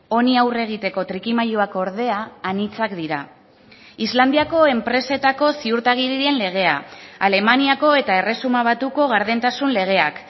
honi aurre egiteko trikimailuak ordea anitzak dira islandiako enpresetako ziurtagiriren legea alemaniako eta erresuma batuko gardentasun legeak